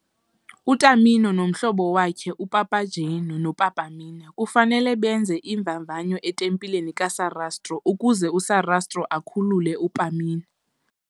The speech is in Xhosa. UTamino nomhlobo wakhe, uPapageno, noPamina kufanele benze iimvavanyo etempileni kaSarastro ukuze uSarastro akhulule uPamina.